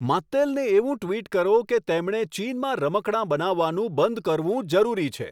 માત્તેલને એવું ટ્વિટ કરો કે તેમણે ચીનમાં રમકડાં બનાવવાનું બંધ કરવું જરૂરી છે